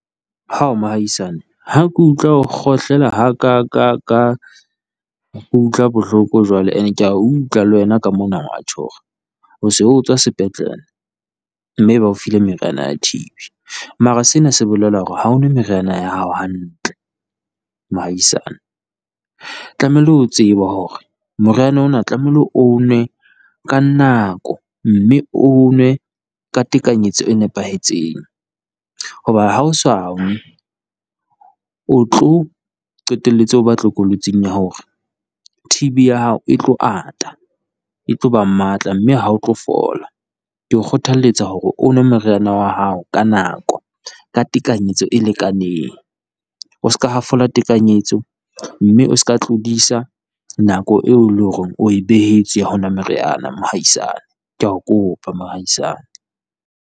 Hao mohaisane ha ke utlwa ho kgohlela ha ka ka ka utlwa bohloko jwale, and-e kea utlwa le wena ka mona wa tjho hore o se o tswa sepetlele. Mme ba o file meriana ya T_B, mara sena se bolela hore ha o nwe meriana ya hao hantle mohaisane. Tlamehile o tsebe hore moriana ona tlamehile o nwe ka nako, mme o o nwe ka tekanyetso e nepahetseng. Hoba ha o sa o tlo qetelletse o ba tlokolotsing ya hore T_B ya hao e tlo ata, e tlo ba matla mme ha o tlo fola, ke o kgothalletsa hore o nwe meriana wa hao ka nako ka tekanyetso e lekaneng. O se ka hafola tekanyetso, mme o se ka tlodisa nako eo e leng hore o e behetswe ho nwa meriana mohaisane kea o kopa mohaisane.